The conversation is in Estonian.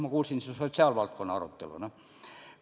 Ma kuulsin siin sotsiaalvaldkonda puudutavat arutelu.